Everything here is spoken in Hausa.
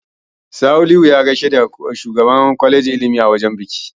Salihu ya gaishe da shugaban kwalejin ilimi a wajen biki.